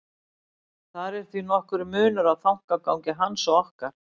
Þar er því nokkur munur á þankagangi hans og okkar.